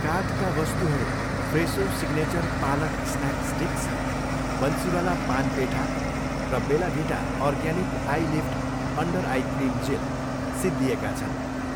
कार्टका वस्तुहरू Fresho signature पालक snack sticks, Bansiwala पान पेठा र Bella Vita organic eyelift under eye cream gel सिद्धिएको छन्।